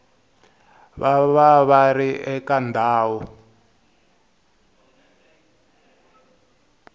va va ri eka ndhawu